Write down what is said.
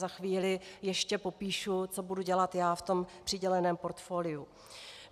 Za chvíli ještě popíšu, co budu dělat já v tom přiděleném portfoliu.